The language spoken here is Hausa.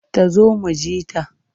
Ta zo mu ji ta.